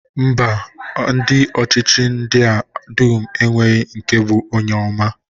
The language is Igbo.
Mba, ndị ọchịchị ndị a dum enweghị nke bụ onye ọma.